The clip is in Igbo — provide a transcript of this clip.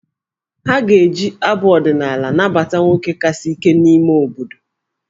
Ha ga-eji abụ ọdịnaala nabata nwoke kasị ike n'ime obodo.